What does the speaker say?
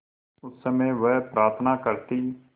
उस समय वह प्रार्थना करती